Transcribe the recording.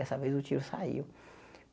Dessa vez, o tiro saiu.